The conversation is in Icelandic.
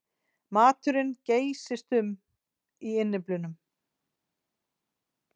Maturinn geysist um í innyflunum.